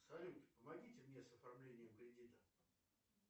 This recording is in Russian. салют помогите мне с оформлением кредита